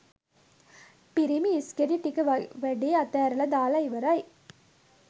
පිරිමි ඉස්ගෙඩි ටික වැඩේ අතැරලා දාල ඉවරයි